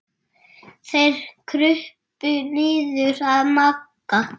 Þeir krupu niður að Magga.